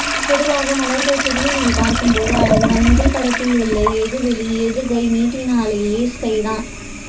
பொதுவாக மலர்கள் செடியினில் பார்க்கும்போது அழகுதான் முதல் படத்தில் உள் எது வெளி எது கை நீட்டினாலேயே ஸ்கை தான்